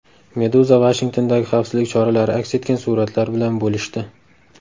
Meduza Vashingtondagi xavfsizlik choralari aks etgan suratlar bilan bo‘lishdi .